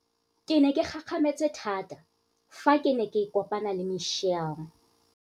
Ke ne ke gakgame tse thata fa ke ne ke kopana le Michelle.